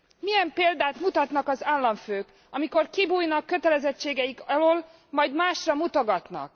Milyen példát mutatnak az államfők, amikor kibújnak kötelezettségeik alól, majd másra mutogatnak?